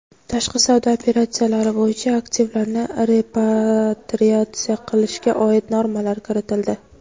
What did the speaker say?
tashqi savdo operatsiyalari bo‘yicha aktivlarni repatriatsiya qilishga oid normalar kiritildi.